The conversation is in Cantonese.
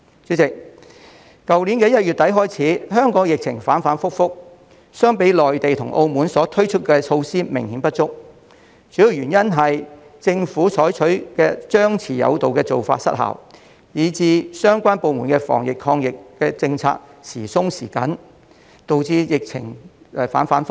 主席，去年1月底開始，香港疫情反覆，相比內地及澳門推出的措施，我們的措施明顯不足，主要原因是政府採取張弛有度的做法失效，以致相關部門的防疫抗疫政策時鬆時緊，亦導致疫情反覆。